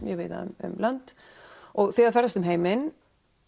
víða um lönd og þið ferðast um heiminn